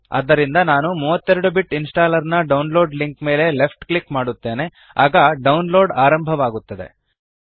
ಆದ್ದರಿಂದ ನಾನು 32 bit installer ನ ಡೌನ್ಲೋಡ್ ಲಿಂಕ್ ಮೇಲೆ ಲೆಫ್ಟ್ ಕ್ಲಿಕ್ ಮಾಡುತ್ತೇನೆ ಆಗ ಡೌನ್ಲೋಡ್ ಆರಂಭವಾಗುತ್ತದೆ